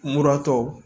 Muratɔ